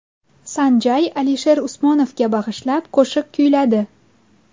San Jay Alisher Usmonovga bag‘ishlab qo‘shiq kuyladi .